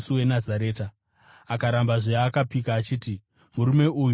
Akarambazve, akapika achiti, “Murume uyu handimuzivi!”